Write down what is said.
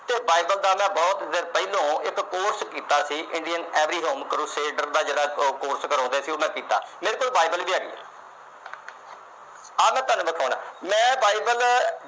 ਤੇ Bible ਦਾ ਮੈਂ ਬਹੁਤ ਪਹਿਲੋਂ ਇੱਕ course ਕੀਤਾ ਸੀ। India Every Home Crusade ਦਾ ਜਿਹੜਾ course ਕਰਾਉਂਦੇ ਆ, ਉਹ ਮੈਂ ਕੀਤਾ। ਮੇਰੇ ਕੋਲ Bible ਵੀ ਹੈਗੀ। ਆ ਮੈਂ ਤੁਹਾਨੂੰ ਦਿਖਾਉਣਾ। ਮੈਂ Bible